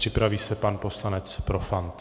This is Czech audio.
Připraví se pan poslanec Profant.